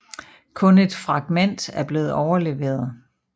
Kun et fragment er blevet overleveret